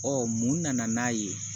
Ɔ mun nana n'a ye